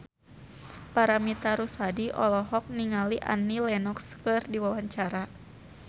Paramitha Rusady olohok ningali Annie Lenox keur diwawancara